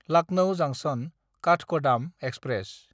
Lucknow जांक्सन–काठगदाम express